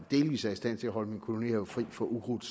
delvis er i stand til at holde min kolonihave fri for ukrudt